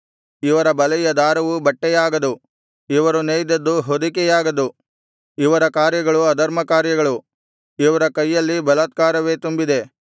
ಇವರ ಬಲೆಯ ದಾರವು ಬಟ್ಟೆಯಾಗದು ಇವರು ನೇಯ್ದದ್ದು ಹೊದಿಕೆಯಾಗದು ಇವರ ಕಾರ್ಯಗಳು ಅಧರ್ಮಕಾರ್ಯಗಳು ಇವರ ಕೈಯಲ್ಲಿ ಬಲಾತ್ಕಾರವೇ ತುಂಬಿದೆ